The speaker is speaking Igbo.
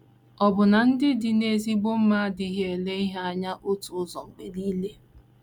Ọbụna ndị dị n’ezigbo mma adịghị ele ihe anya otu ụzọ mgbe nile.